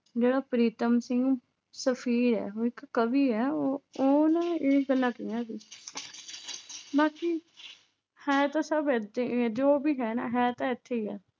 ਜਿਹੜਾ ਪ੍ਰੀਤਮ ਸਿੰਘ ਸਫ਼ੀਰ ਹੈ ਉਹ ਇੱਕ ਕਵੀ ਹੈ ਉਹ ਉਹਨੇ ਇਹ ਗੱਲਾਂ ਕਹੀਆਂ ਸੀ ਬਾਕੀ ਹੈ ਤਾਂ ਸਭ ਇੱਥੇ ਹੀ ਹੈ, ਜੋ ਵੀ ਹੈ ਨਾ ਹੈ ਤਾਂ ਇੱਥੇ ਹੀ ਹੈ।